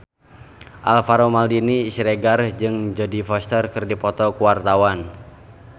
Alvaro Maldini Siregar jeung Jodie Foster keur dipoto ku wartawan